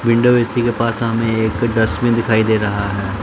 Window AC के पास सामने एक डस्टबिन दिखाई दे रहा है।